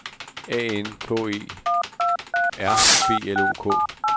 A N K E R B L O K